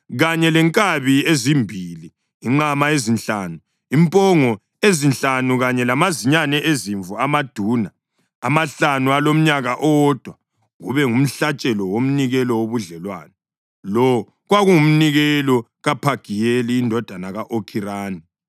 kanye lenkabi ezimbili, inqama ezinhlanu, impongo ezinhlanu kanye lamazinyane ezimvu amaduna amahlanu alomnyaka owodwa, kube ngumhlatshelo womnikelo wobudlelwano. Lo kwakungumnikelo kaPhagiyeli indodana ka-Okhirani.